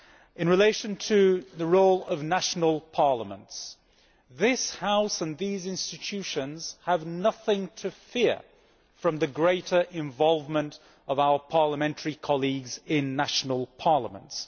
In relation to the role of national parliaments, this House and these institutions have nothing to fear from the greater involvement of our parliamentary colleagues in national parliaments.